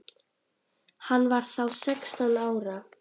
Hann var þá sextán ára.